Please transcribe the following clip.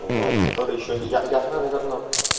вот который ещё я я знаю наверно